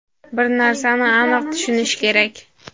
Bir narsani aniq tushunish kerak.